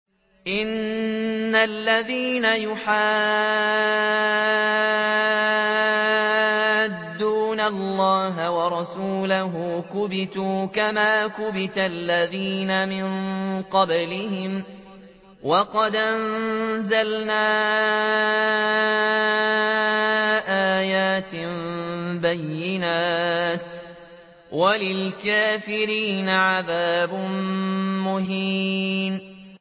إِنَّ الَّذِينَ يُحَادُّونَ اللَّهَ وَرَسُولَهُ كُبِتُوا كَمَا كُبِتَ الَّذِينَ مِن قَبْلِهِمْ ۚ وَقَدْ أَنزَلْنَا آيَاتٍ بَيِّنَاتٍ ۚ وَلِلْكَافِرِينَ عَذَابٌ مُّهِينٌ